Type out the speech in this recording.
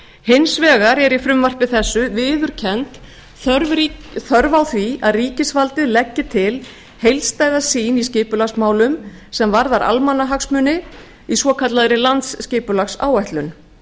hins vegar er í frumvarpi þessu viðurkennd þörf á því að ríkisvaldið leggi til heildstæða sýn í skipulagsmálum sem varðar almannahagsmuni í svokallaðri landsskipulagsáætlun